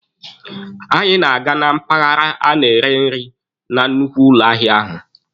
Anyị na-aga na mpaghara a na-eri nri na nnukwu ụlọ ahịa ahụ.